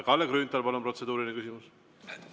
Kalle Grünthal, palun, protseduuriline küsimus!